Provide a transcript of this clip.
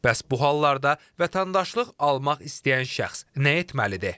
Bəs bu hallarda vətəndaşlıq almaq istəyən şəxs nə etməlidir?